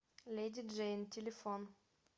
леди джейн телефон